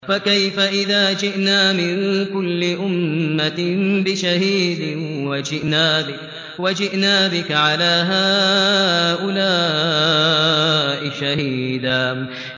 فَكَيْفَ إِذَا جِئْنَا مِن كُلِّ أُمَّةٍ بِشَهِيدٍ وَجِئْنَا بِكَ عَلَىٰ هَٰؤُلَاءِ شَهِيدًا